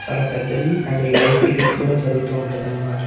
చాల పెద్దది and live cricket కూడా జరుగుతూ వుంటాది అన్నమాట.